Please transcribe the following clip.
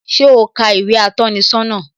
Ṣé o ka ìwé atọ́ni sọ́nà?